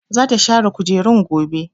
Zata share kujerun gobe.